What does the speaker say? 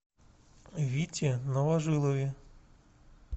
вите новожилове